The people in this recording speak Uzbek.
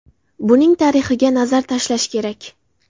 Buning tarixiga nazar tashlash kerak.